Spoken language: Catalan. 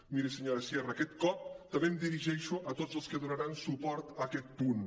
miri senyora sierra aquesta cop també em dirigeixo a tots els que donaran suport a aquest punt